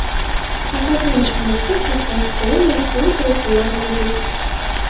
Ovqatlanish xonasida katta stol va stul-kreslolar mavjud.